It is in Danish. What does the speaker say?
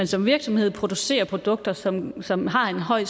som virksomhed producerer produkter som som har en høj